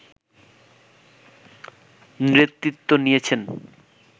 নেতৃত্ব নিয়েছেন